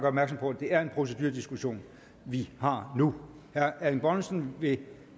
opmærksom på at det er en procedurediskussion vi har nu herre erling bonnesen vil